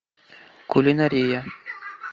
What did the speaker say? кулинария